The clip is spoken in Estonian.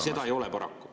Seda ei ole paraku.